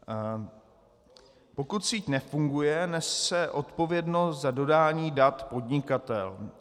Pokud síť nefunguje, nese odpovědnost za dodání dat podnikatel.